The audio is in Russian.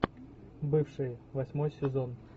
бывшие восьмой сезон